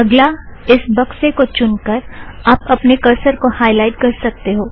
अगला इस बक्से को चुनकर आप अपने करसर को हायलाइट कर सकते हो